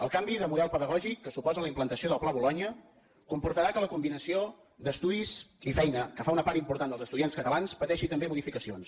el canvi de model pedagògic que suposa la implantació del pla bolonya comportarà que la combinació d’estudis i feina que fa una part important dels estudiants catalans pateixi també modificacions